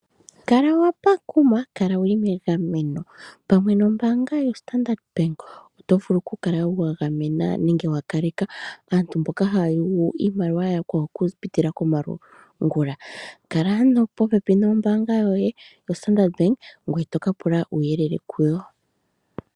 Kala wa pakuma, kala wu li megameno. Pamwe nombaanga yoStandrd Bank oto vulu wo okukala wa gamena nenge wa kaleka aantu mboka haa yugu iimaliwa ya yakwawo okupitila komalungula. Kala ano popepi nombaanga yoye yoStandard Bank ngoye to ka pula uuyelele kuyo.